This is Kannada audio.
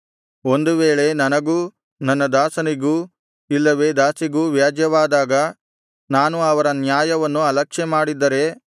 ಒಂದು ವೇಳೆ ನನಗೂ ನನ್ನ ದಾಸನಿಗೂ ಇಲ್ಲವೆ ದಾಸಿಗೂ ವ್ಯಾಜ್ಯವಾದಾಗ ನಾನು ಅವರ ನ್ಯಾಯವನ್ನು ಅಲಕ್ಷ್ಯಮಾಡಿದ್ದರೆ